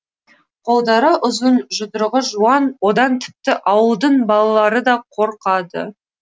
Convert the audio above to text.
қолдары ұзын жұдырығы жуан одан тіпті ауылдың балалары да қорқады